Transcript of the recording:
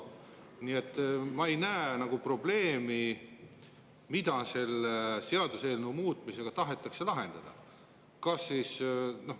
Nii et ma ei näe probleemi, mida selle seaduseelnõuga tahetakse lahendada.